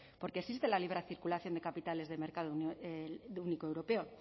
porque existe la libre circulación de capitales de mercado único europeo